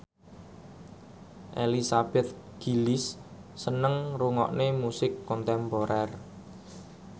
Elizabeth Gillies seneng ngrungokne musik kontemporer